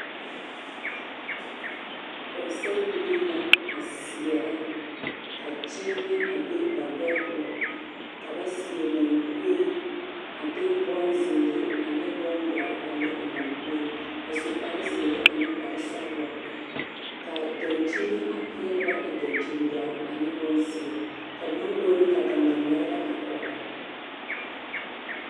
Pɔgesarebilii la a seɛrɛ ka kyeemɛ a be ba gbɛɛ poɔ ka ba seɛ monkue a de bonzeere ane bondɔre a le a monkue a su kparezeere ane kparesɔglɔ ka dankyini a peɛle ba e dankyindɔre ane bonzeɛ ka mongori ka gangaŋmeɛrebɛ are kɔge ba.